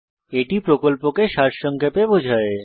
এটি প্রকল্পকে সারসংক্ষেপে বোঝায়